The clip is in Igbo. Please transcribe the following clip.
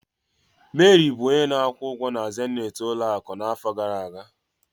Mary bụ onye na-akwụ ụgwọ na zenith ụlọ akụ n'afọ gara aga.